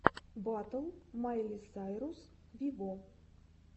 батл майли сайрус виво